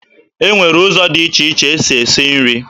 E nwere ụzọ dị iche iche e si esi nri.